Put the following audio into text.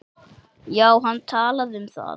Já, hann talaði um það.